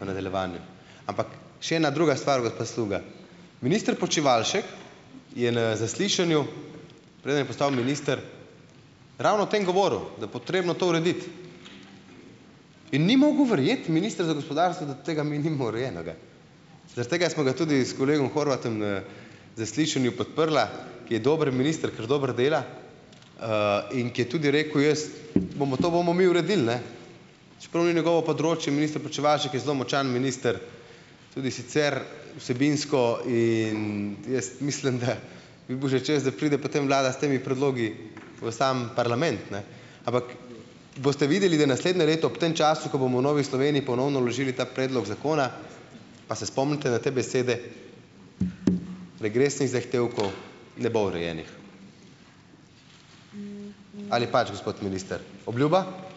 v nadaljevanju, ampak še ena druga stvar, gospa Sluga - minister Počivalšek je na zaslišanju, preden je postal minister, ravno o tem govoril, da je potrebno to urediti in ni mogel verjeti, minister za gospodarstvo, da tega mi nimamo urejenega, zaradi tega smo ga tudi s kolegom Horvatom, zaslišanju podprla, ker je dober minister, ker dobro dela, in ker je tudi rekel: "Jaz, bomo, to bomo mi uredili, ne," čeprav ni njegovo področje, minister Počivalšek je zelo močan minister, tudi sicer vsebinsko, in jaz mislim, da bi bil že čas, da pride potem vlada s temi predlogi v sam parlament, ne, ampak boste videli, da naslednje leto ob tem času, ko bomo v Novi Sloveniji ponovno vložili ta predlog zakona, pa se spomnite na te besede - regresnih zahtevkov ne bo urejenih. Ali pač, gospod minister? Obljuba?